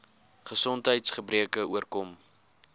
gesondheids gebreke oorkom